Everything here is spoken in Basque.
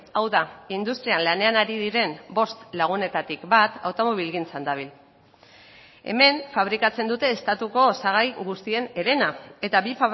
hau da industrian lanean ari diren bost lagunetatik bat automobilgintzan dabil hemen fabrikatzen dute estatuko osagai guztien herena eta bi